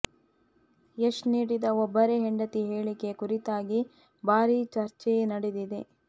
ಯಶ್ ನೀಡಿದ ಒಬ್ಬರೇ ಹೆಂಡತಿ ಹೇಳಿಕೆ ಕುರಿತಾಗಿ ಭಾರೀ ಚರ್ಚೆಯೇ ನಡೆದಿದೆ